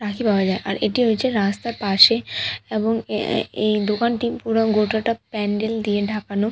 রাখি পাওয়া যায় আর এটি হয়েছে রাস্তার পাশে এবং এ এ এই দোকানটি পুরো গোটাটা প্যান্ডেল দিয়ে ঢাকানো।